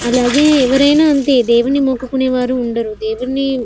అలాగే ఎవరైనా అంతే దేవుణ్ణి మొక్కుకునే వారు ఉండరు దేవుణ్ణి --